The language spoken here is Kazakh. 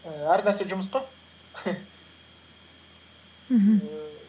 ііі әр нәрсе жұмыс қой мхм